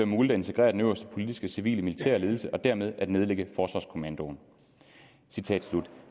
muligt at integrere den øverste politiske civile og militære ledelse og dermed at nedlægge forsvarskommandoen